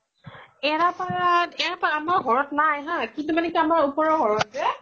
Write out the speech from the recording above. এৰা পাত, এৰা পাত আমাৰ ঘৰত নাই হা কিন্তু মানে আমাৰ ওপৰৰ ঘৰত যে